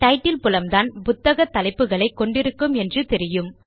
title புலம்தான் புத்தக தலைப்புகளை கொண்டு இருக்கும் என்று தெரியும்